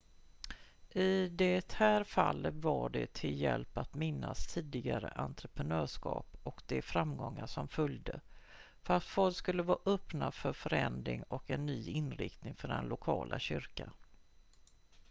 i det här fallet var det till hjälp att minnas tidigare entreprenörskap och de framgångar som följde för att folk skulle vara öppna för förändring och en ny inriktning för den lokala kyrkan